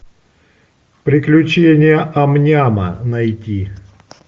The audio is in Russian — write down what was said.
приключения ам няма найти